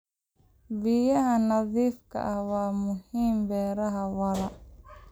Biyaha nadiifka ah waa muhiim beeraha waara.